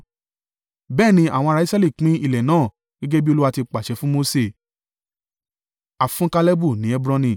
Bẹ́ẹ̀ ni àwọn ará Israẹli pín ilẹ̀ náà, gẹ́gẹ́ bí Olúwa ti pàṣẹ fún Mose.